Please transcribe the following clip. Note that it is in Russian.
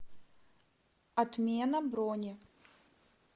отмена брони